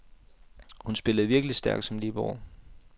Hun spillede virkelig stærkt som libero.